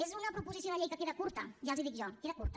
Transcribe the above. és una proposició de llei que queda curta ja els ho dic jo queda curta